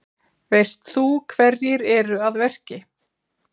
Veist þú hverjir eru að verki?